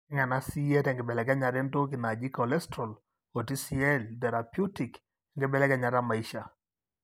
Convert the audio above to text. tegena sie tenkibelekenyata entoki naaji cholesterol o TCl Therapeutic wenkibelekenyata emaisha.